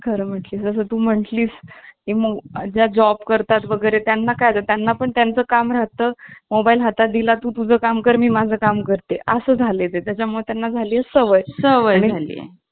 खरं म्हटलं तर तू मंथ ली ज्या job करतात वगैरे त्यांना काय तर त्यांना पण त्यांचं काम राहतं mobile हातात दिला तू तुझं काम कर मी माझं काम करते असे झाले आहे त्यामुळे त्यांना झाली आहे सवय